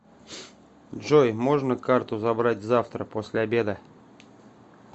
джой можно карту забрать завтра после обеда